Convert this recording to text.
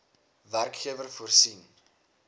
werkgewer voorsien